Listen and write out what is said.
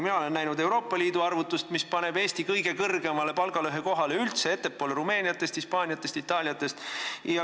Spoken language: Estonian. Mina olen näinud Euroopa Liidu arvutust, mis paneb Eesti kõige kõrgemale palgalõhekohale üldse, ettepoole Rumeeniatest, Hispaaniatest, Itaaliatest.